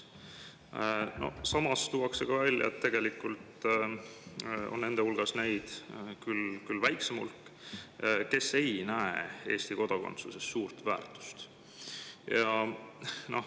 Samas tuuakse välja, et nende hulgas on neid, küll väiksem hulk, kes ei näe Eesti kodakondsuses suurt väärtust.